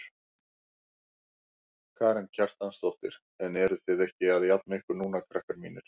Karen Kjartansdóttir: En eruð þið ekki að jafna ykkur núna krakkar mínir?